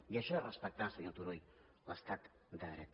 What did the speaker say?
i això és respectar senyor turull l’estat de dret